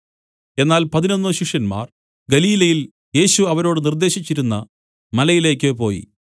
എന്നാൽ പതിനൊന്നു ശിഷ്യന്മാർ ഗലീലയിൽ യേശു അവരോട് നിർദ്ദേശിച്ചിരുന്ന മലയിലേക്ക് പോയി